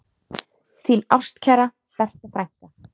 Þín ástkæra Berta frænka.